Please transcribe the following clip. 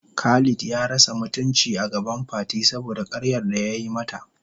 Khalid ya rasa mutuncin agaban Fati saboda karyar da yayi mata.